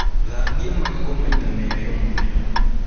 Thambia magego maita merĩ o mũthenya